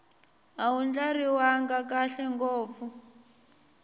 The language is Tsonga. a wu ndlariwanga kahle ngopfu